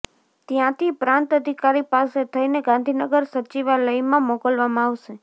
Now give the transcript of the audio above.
ત્યાંથી પ્રાંત અધિકારી પાસે થઈને ગાંધીનગર સચિવાલયમાં મોકલવામાં આવશે